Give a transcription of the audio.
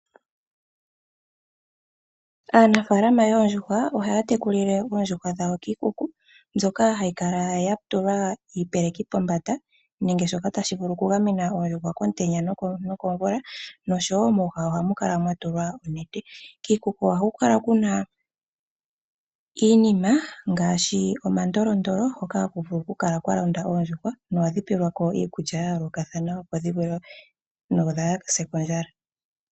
Aanafaalama yoondjuhwa ohaya tekulile oondjuhwa dhawo kiikuku mbyoka hayi kala ya tulwa iipeleki pombanda nenge shoka tashi vulu okugamena komutenya no komvula noshowo mooha ohamu kala mwatulwa onete . Kiikuku ohaku kala kula iinima ngaashi omandolondoll hoka haku vulu oku kala kwa londa oondjuhwa no hadhi pelwako iikulya ya yoolokathana opo dhivale dho kaadhise kondjala.